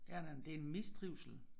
Ja nej men det er mistrivsel